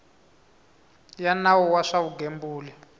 ya nawu wa swa vugembuli